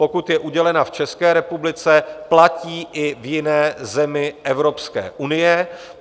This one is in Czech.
Pokud je udělena v České republice, platí i v jiné zemi Evropské unie.